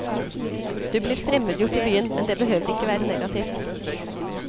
Du blir fremmedgjort i byen, men det behøver ikke være negativt.